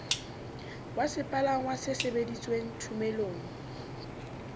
wa sepalangwa se sebedisitweng thomelong